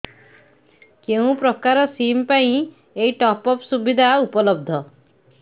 କେଉଁ ପ୍ରକାର ସିମ୍ ପାଇଁ ଏଇ ଟପ୍ଅପ୍ ସୁବିଧା ଉପଲବ୍ଧ